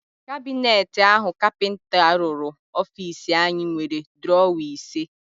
Kabineti áhụ̀ kapịnta rụrụ ofiisi anyị nwere drọwa ise.